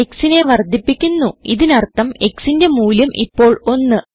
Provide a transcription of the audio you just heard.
xനെ വർദ്ധിപ്പിക്കുന്നു ഇതിനർഥം xന്റെ മൂല്യം ഇപ്പോൾ 1